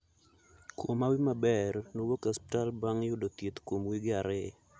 Kuom hawi maberi, nowuok e osiptal bang' yudo thieth kuom wige ariyo.